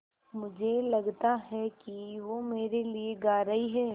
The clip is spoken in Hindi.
मुझे लगता है कि वो मेरे लिये गा रहीं हैँ